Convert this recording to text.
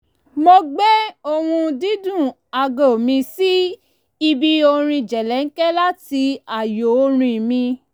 mo gbé ohùn-dídún aago mi sí ibi orin jẹ̀lẹ̀ńkẹ́ láti ààyo orin mi